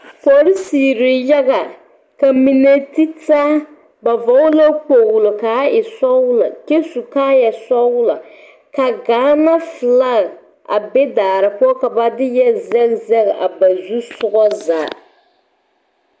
Polisirii yaga ka mine ti taa ba vɔgle la kpoglo kaa e sɔglɔ kyɛ su kaayasɔglɔ ka gaana filag a be daare poɔ ka ba zɛge zɛge a ba zusogɔ zaa.